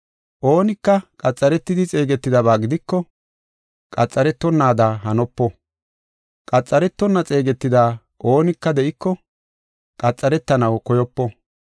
Oonika qaxaretidi xeegetidaba gidiko, qaxaretonada hanopo. Qaxaretonna xeegetida oonika de7iko, qaxaretanaw koyopo.